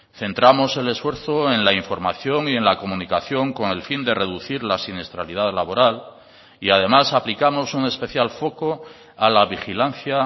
centramos el esfuerzo en la información y en la comunicación con el fin de reducir la siniestralidad laboral y además aplicamos un especial foco a la vigilancia